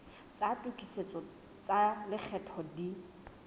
tsa tokisetso tsa lekgetho di